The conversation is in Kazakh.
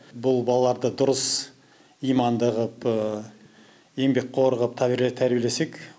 бұл балаларды дұрыс иманды қылып еңбекқор қылып тәрбиелесек